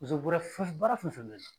Muso bɔrɛfa baara fɛn fɛn bɛ ye